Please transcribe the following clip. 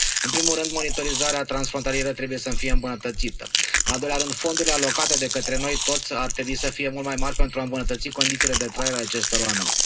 În primul rând, monitorizarea transfrontalieră trebuie să fie îmbunătățită, în al doilea rând, fondurile alocate de către noi toți ar trebui să fie mult mai mari pentru a îmbunătăți condițiile de trai ale acestor oameni.